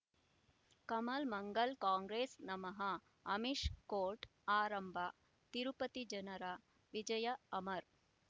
ಕಮಲ್ ಮಂಗಳ್ ಕಾಂಗ್ರೆಸ್ ನಮಃ ಅಮಿಷ್ ಕೋರ್ಟ್ ಆರಂಭ ತಿರುಪತಿ ಜನರ ವಿಜಯ ಅಮರ್